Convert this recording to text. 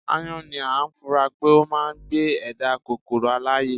aáyán ni a fura pé ó máà ń gbé ẹ̀dá kòkoro alààyè